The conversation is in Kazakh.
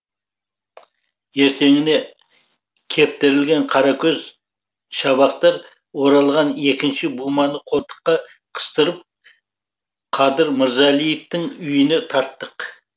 ертеңіне кептірілген қаракөз шабақтар оралған екінші буманы қолтыққа қыстырып қадыр мырзалиевтың үйіне тарттық